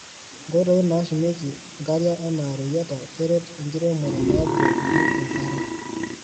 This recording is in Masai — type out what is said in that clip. Nkoitoi nashumieki nkariak ana reyiata keret enkiremore nabukokini enkare.